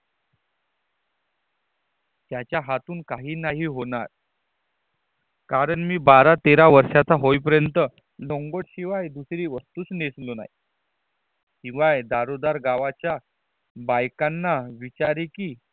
याचा हातून काही नाही होणार कारण मी बारा तेरा वर्षाचा होईपर्यंत लंगोट शिवाय दुसरी वस्तूच नसलो नाही. शिवाय दारोदार गावाच्या बाबायकांना विचारी कि